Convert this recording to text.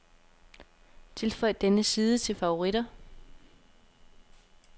Tilføj denne side til favoritter.